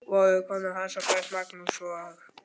Voru kona hans og börn, Magnús og